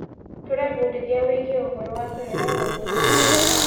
Tũrebundithia wĩgiĩ ũhoro wa tene na ũndũire.